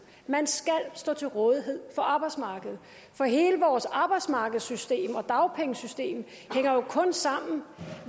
man skal stå til rådighed for arbejdsmarkedet for hele vores arbejdsmarkedssystem og dagpengesystem hænger jo kun sammen